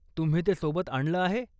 तुम्ही ते सोबत आणलं आहे?